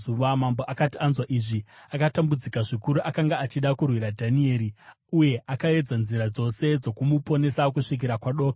Mambo akati anzwa izvi, akatambudzika zvikuru; akanga achida kurwira Dhanieri uye akaedza nzira dzose dzokumuponesa kusvikira kwadoka.